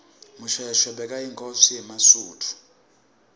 mushoeshoe bekayinkhosi yemasuthu